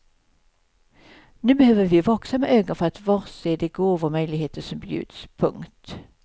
Nu behöver vi vaksamma ögon för att bli varse de gåvor och möjligheter som bjuds. punkt